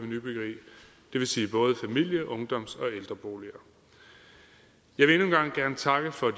det vil sige både familie ungdoms og ældreboliger jeg vil endnu en gang gerne takke for